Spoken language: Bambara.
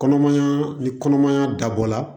Kɔnɔmaya ni kɔnɔmaya dabɔ la